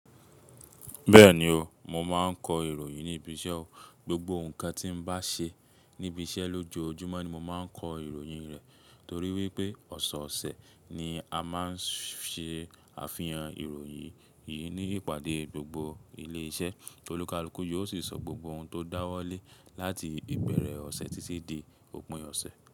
Bẹ́ẹ̀ni o, mo máa ń kọ ìròyìn ní ibi iṣẹ́ o. Gbogbo nǹkan tí mo bá ṣe níbi iṣẹ́ lójoojúmọ́ ni mo máa ń kọ ìròyìn rẹ̀. Torí wípé ọ̀seọ̀sẹ̀ ni a máa ń ṣe àfihàn ìròyìn yìí ní ìpàdé gbogbo ilé iṣẹ́. Olù kalùkù yóò sì sọ gbogbo ohun tó dáwọ́ lé láti ìbẹ̀rẹ̀ ọ̀sẹ̀ títí dé òpin ọ̀sẹ̀.